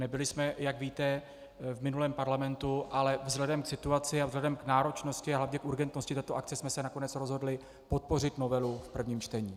Nebyli jsme, jak víte, v minulém parlamentu, ale vzhledem k situaci a vzhledem k náročnosti a hlavně k urgentnosti této akce jsme se nakonec rozhodli podpořit novelu v prvním čtení.